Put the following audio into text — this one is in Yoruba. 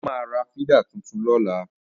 Mo máa ra fídà tuntun lọ́la